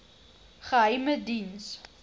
geheimediens